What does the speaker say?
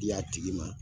Y'a tigi ma